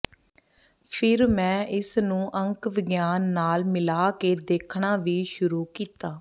ਫਿਰ ਮੈਂ ਇਸਨੂੰ ਅੰਕ ਵਿਗਿਆਨ ਨਾਲ ਮਿਲਾ ਕੇ ਦੇਖਣਾ ਵੀ ਸ਼ੁਰੂ ਕੀਤਾ